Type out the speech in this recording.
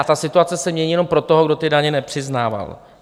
A ta situace se mění jenom pro toho, kdo ty daně nepřiznával.